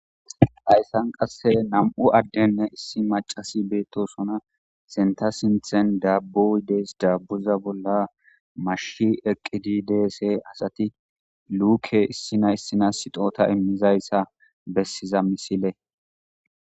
hayssan qasse nam7u addenne issi macasi beettosona senta sinthen dabbuidees daabbuza bolla mashi eqqididse asati luuke issina issina sixota immizayssa bessiza misile